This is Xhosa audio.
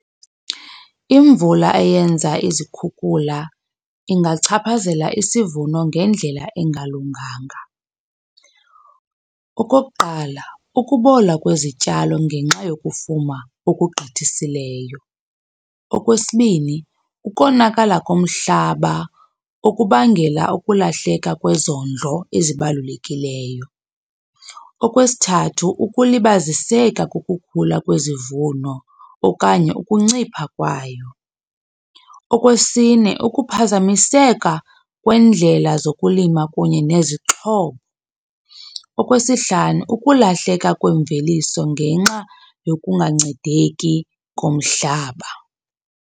Imvula eyenza izikhukhula ingachaphazela isivuno ngendlela engalunganga. Okokuqala, ukubola kwezityalo ngenxa yokufuma okugqithisileyo. Okwesibini, ukonakala komhlaba okubangela ukulahleka kwezondlo ezibalulekileyo. Okwesithathu, ukulibaziseka kokukhula kwezivuno okanye ukuncipha kwayo. Okwesine, ukuphazamiseka kwendlela zokulima kunye nezixhobo. Okwesihlanu, ukulahleka kwemveliso ngenxa yokungancedeki komhlaba.